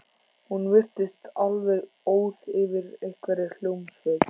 Hún virtist alveg óð yfir einhverri hljómsveit.